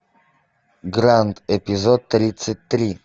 гранд эпизод тридцать три